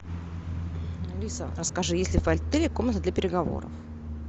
алиса расскажи есть ли в отеле комната для переговоров